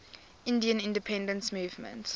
indian independence movement